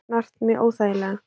Snart mig óþægilega.